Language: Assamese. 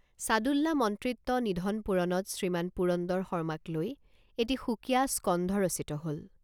ছাদুল্লা মন্ত্ৰিত্ব নিধন পূৰণত শ্ৰীমান পুৰন্দৰ শৰ্মাক লৈ এটি সুকীয়া স্কন্ধ ৰচিত হল।